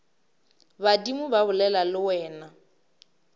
badimo ba bolela le wena